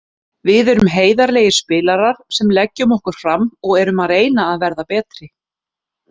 Við erum heiðarlegir spilarar sem leggjum okkur fram og erum að reyna að vera betri.